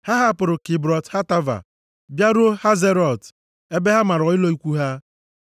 Ha hapụrụ Kibrọt Hataava bịaruo Hazerọt ebe ha mara ụlọ ikwu ha.